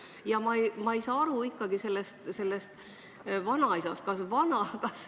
Ja ma ei saa ikkagi sellest vanaisast aru.